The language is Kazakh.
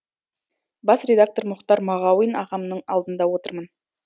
бас редактор мұхтар мағауин ағамның алдында отырмын